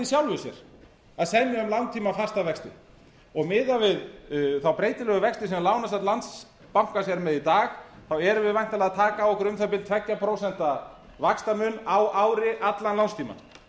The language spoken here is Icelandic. sjálfu sér að semja um langtíma fasta vexti miðað við þá breytilegu vexti sem lánasafn landsbankans er með í dag erum við væntanlega að taka á okkur um það bil tvö prósent vaxtamun á ári allan lánstímann